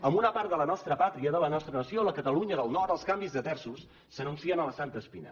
en una part de la nostra pàtria de la nostra nació a la catalunya del nord els canvis de terços s’anuncien amb la santa espina